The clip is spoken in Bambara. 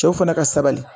Cɛw fana ka sabali